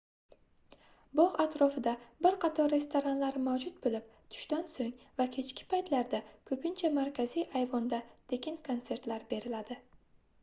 bogʻ atrofida bir qator restoranlar mavjud boʻlib tushdan soʻng va kechki paytlarda koʻpincha markaziy ayvonda tekin konsertlar beriladi